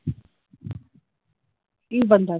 ਕਿ ਬੰਦਾ ਕਰੇ।